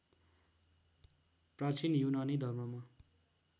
प्रचीन युनानी धर्ममा